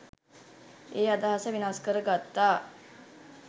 ඒ අදහස වෙනස් කර ගත්තා.